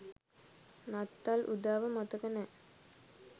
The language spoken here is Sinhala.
නත්තල් උදාව මතක නෑ